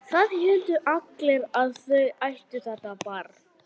Það héldu allir að þau ættu þetta barn.